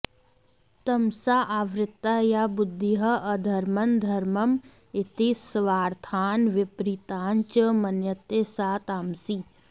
तमसा आवृता या बुद्धिः अधर्मं धर्मम् इति सर्वार्थान् विपरीतान् च मन्यते सा तामसी